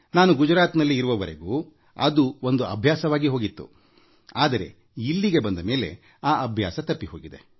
ನಾನು ಗುಜರಾತ್ನಲ್ಲಿ ಇರುವವರೆಗೂ ಅದು ಒಂದು ಅಭ್ಯಾಸವಾಗಿ ಹೋಗಿತ್ತು ಆದರೆ ಇಲ್ಲಿಗೆ ಬಂದ ಮೇಲೆ ಆ ಅಭ್ಯಾಸ ತಪ್ಪಿ ಹೋಗಿದೆ